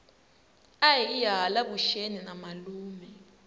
ahiye hala vuxeni na malume